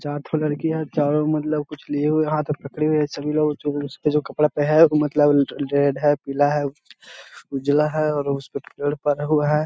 चार ठो लड़की है चारो मतलब कुछ लिए हुए हाथ में पकड़ी हुए है सभी लोग उस के जो कपड़ा पे है उ मतलब जो रेड है पीला है उजला है और उस पे हुआ है।